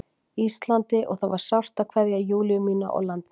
Íslandi og það var sárt að kveðja Júlíu mína og land mitt.